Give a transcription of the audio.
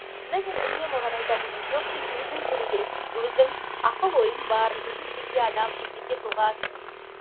сонда мен үнемі оған айтатынмын жоқ сен өзің келу керексің өзің ақыл ойың бар өзің жеке адамсың жеке тұлғасың